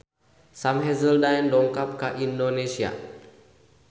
Sam Hazeldine dongkap ka Indonesia